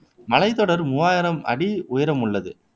மலைத்தொடர் மூவாயிரம் அடி உயரமுள்ளது